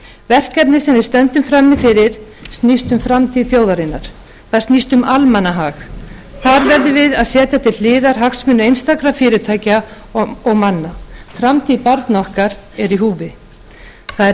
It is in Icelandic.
verkefnið sem við stöndum frammi fyrir snýst um framtíð þjóðarinnar það snýst um almannahag þar verðum við að setja til góðar hagsmuni einstakra fyrirtækja og manna framtíð barna okkar er í húfi það er